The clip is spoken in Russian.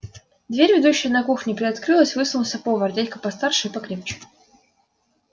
дверь ведущая на кухню приоткрылась высунулся повар дядька постарше и покрепче